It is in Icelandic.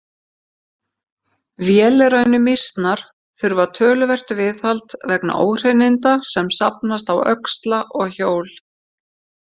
Vélrænu mýsnar þurfa töluvert viðhald vegna óhreininda sem safnast á öxla og hjól.